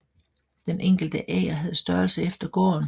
Den enkelte ager havde størrelse efter gården